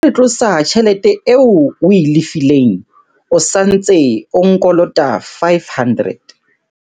Ha re tlosa tjhelete eo o e lefileng, o sa ntse o nkolota R500.